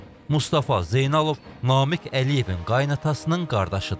Mustafa Zeynalov Namiq Əliyevin qaynatasının qardaşıdır.